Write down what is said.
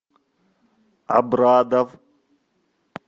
абрадов